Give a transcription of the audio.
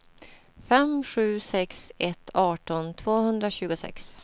fem sju sex ett arton tvåhundratjugosex